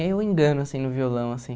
Aí eu engano, assim, no violão, assim.